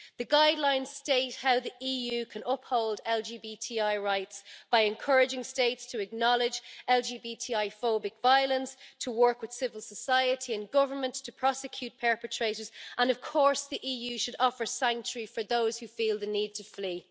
The guidelines state how the EU can uphold LGBTI rights by encouraging states to acknowledge LGBTI-phobic violence, to work with civil society and government, to prosecute perpetrators and, of course, the EU should offer sanctuary for those who feel the need to flee.